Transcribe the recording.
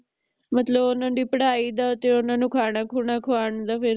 ਮਤਲਬ ਓਹਨਾਂ ਦੀ ਪੜ੍ਹਾਈ ਦਾ ਤੇ ਓਹਨਾ ਨੂੰ ਖਾਣਾ ਖੁਣਾ ਖਵਾਨ ਦਾ ਫੇਰ